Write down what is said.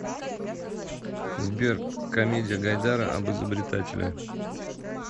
сбер комедия гайдара об изобретателе